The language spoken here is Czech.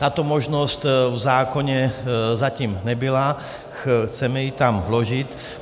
Tato možnost v zákoně zatím nebyla, chceme ji tam vložit.